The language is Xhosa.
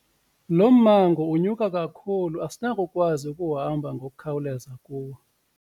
Lo mmango unyuka kakhulu asinakukwazi ukuhamba ngokukhawuleza kuwo.